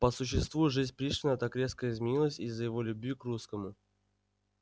по существу жизнь пришвина так резко изменилась из-за его любви к русскому